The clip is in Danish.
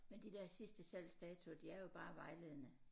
Men de der sidste salgsdatoer de er jo bare vejledende